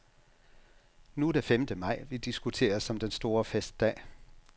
Nu er det femte maj, vi diskuterer som den store festdag.